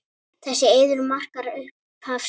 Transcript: Þessi eiður markar upphaf Sviss.